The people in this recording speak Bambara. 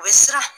U bɛ siran